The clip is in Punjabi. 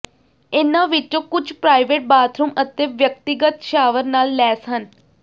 ਇਹਨਾਂ ਵਿੱਚੋਂ ਕੁਝ ਪ੍ਰਾਈਵੇਟ ਬਾਥਰੂਮ ਅਤੇ ਵਿਅਕਤੀਗਤ ਸ਼ਾਵਰ ਨਾਲ ਲੈਸ ਹਨ